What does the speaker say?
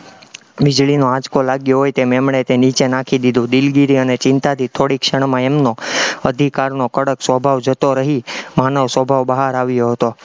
વીજળીનો આંચકો લાગ્યો હોય એમ એમણે તે નીચે નાખી દીધું, દિલગીરી અને ચિંતાથી થોડીકે ક્ષણમાં એમનો અધિકારનો કડક સ્વભાવ જતો રહી, માનવ સ્વભાવ બહાર આવ્યો હતો.